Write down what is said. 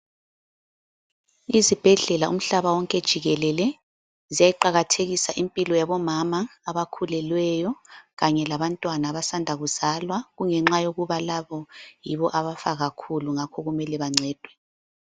Izibhedlela umhlaba wonke jikelele ziyayiqakathekisa impilo yabomama abakhulelweyo kanye labantwana abasanda kuzalwa kungenxa yokuba labo yibo abafa kakhulu ngakho kumele bancedwe.